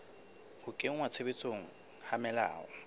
ho kenngwa tshebetsong ha melao